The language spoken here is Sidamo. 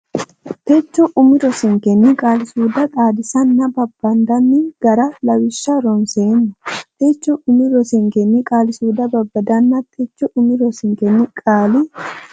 techo umi rosinkenni qaali suude xaadinsanninna babbandanni gara Lawishsha ronseemmo techo umi rosinkenni qaali suude xaadinsanninna techo umi rosinkenni qaali.